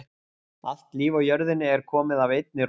Allt líf á jörðinni er komið af einni rót.